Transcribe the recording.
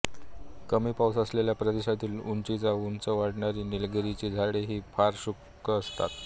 कमी पाऊस असलेल्या प्रदेशांतील उंचच्या उंच वाढणारी निलगिरीची झाडे ही फार शुष्क असतात